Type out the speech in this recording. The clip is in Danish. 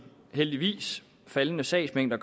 heldigvis faldende sagsmængder